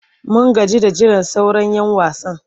Mun gaji da jiran sauran'yan wasan.